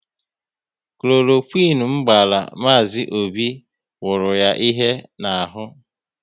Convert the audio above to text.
Kloroquine m gbara Mazi Obi wuru ya ihe n'ahụ